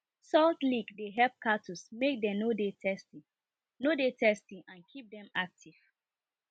salt lick dey help cattles make dem no dey thirsty no dey thirsty and keep dem active